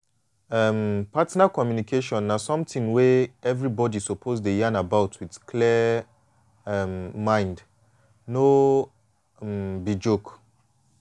um partner communication na something wey everybody suppose dey yan about with clear um mind no um be joke